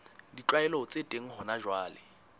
ditlwaelo tse teng hona jwale